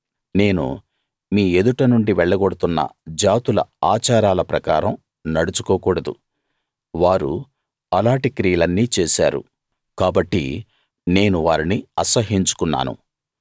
నేను మీ ఎదుట నుండి వెళ్లగొడుతున్న జాతుల ఆచారాల ప్రకారం నడుచుకోకూడదు వారు అలాటి క్రియలన్నీ చేశారు కాబట్టి నేను వారిని అసహ్యించుకున్నాను